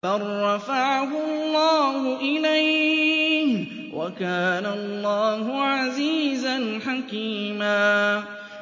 بَل رَّفَعَهُ اللَّهُ إِلَيْهِ ۚ وَكَانَ اللَّهُ عَزِيزًا حَكِيمًا